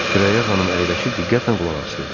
Sürəyya xanım əyləşib diqqətlə qulaq asırdı.